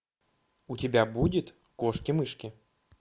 у тебя будет кошки мышки